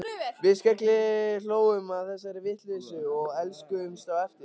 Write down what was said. Við skellihlógum að þessari vitleysu og elskuðumst á eftir.